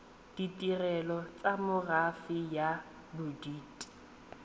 ditirelo tsa merafe ya bodit